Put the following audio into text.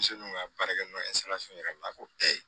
Denmisɛnninw ka baarakɛ minɛn yɛrɛ n'a ko ee